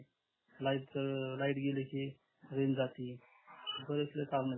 light light गेली की range जाती बरेचसे कारण आहेत